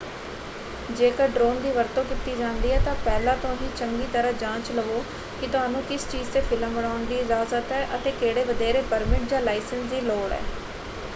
ਜੇਕਰ ਡਰੋਨ ਦੀ ਵਰਤੋਂ ਕੀਤੀ ਜਾਂਦੀ ਹੈ ਤਾਂ ਪਹਿਲਾਂ ਤੋਂ ਹੀ ਚੰਗੀ ਤਰ੍ਹਾਂ ਜਾਂਚ ਲਵੋ ਕਿ ਤੁਹਾਨੂੰ ਕਿਸ ਚੀਜ਼ ‘ਤੇ ਫਿਲਮ ਬਣਾਉਣ ਦੀ ਇਜਾਜ਼ਤ ਹੈ ਅਤੇ ਕਿਹੜੇ ਵਧੇਰੇ ਪਰਮਿਟ ਜਾਂ ਲਾਇਸੈਂਸ ਦੀ ਲੋੜ ਹੈ।